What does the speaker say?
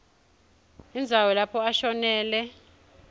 indzawo lapho ashonele